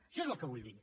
això és el que vull dir